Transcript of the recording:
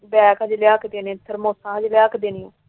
Bag ਅਜੇ ਲਿਆ ਕੇ ਦੇਣੇ ਸੀ। ਫਿਰ ਲਿਆ ਕੇ ਦੇਣੇ ਸੀ।